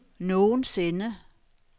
nogensinde